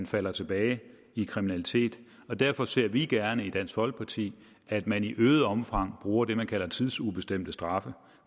falder tilbage i kriminalitet og derfor ser vi gerne i dansk folkeparti at man i øget omfang bruger det man kalder tidsubestemte straffe